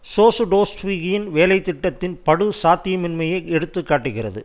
சோசுடோவ்ஸ்கியின் வேலை திட்டத்தின் படுசாத்தியமின்மையை எடுத்து காட்டுகிறது